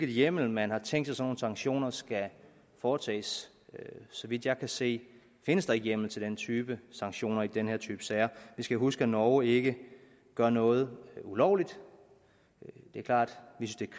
hjemmel man har tænkt sig sanktioner skal foretages så vidt jeg kan se findes der ikke hjemmel til den type sanktioner i den her type sager vi skal huske at norge ikke gør noget ulovligt det er klart